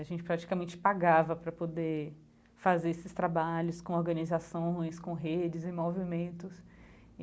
A gente praticamente pagava para poder fazer esses trabalhos com organizações, com redes e movimentos e.